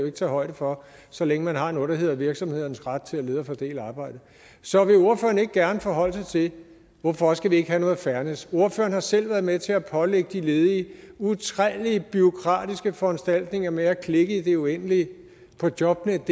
ikke tage højde for så længe man har noget der hedder virksomhedernes ret til at lede og fordele arbejdet så vil ordføreren ikke gerne forholde sig til hvorfor skal vi ikke have noget fairness ordføreren har selv været med til at pålægge de ledige utallige bureaukratiske foranstaltninger med at klikke i det uendelige på jobnetdk